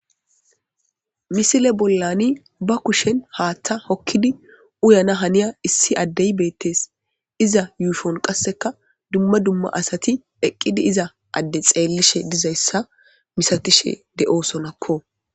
Misiel e bollani ba kushen haaththa hokkidi uyana haniya issi addee beettees.iza yushuwan qassikkka dumma dumma asati eqqidi iza adde xeellishe dizayssa misatishe de' sonakko.